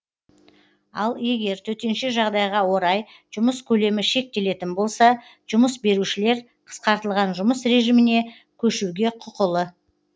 ал егер төтенше жағдайға орай жұмыс көлемі шектелетін болса жұмыс берушілер қысқартылған жұмыс режиміне көшуге құқылы